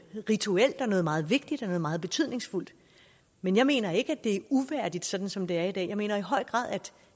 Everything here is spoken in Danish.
rituelt noget meget vigtigt og noget meget betydningsfuldt men jeg mener ikke det er uværdigt som som det er i dag jeg mener i høj grad at